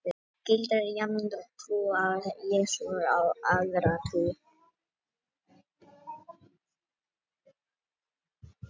Þetta gildir jafnt um trú á Jesú sem aðra trú.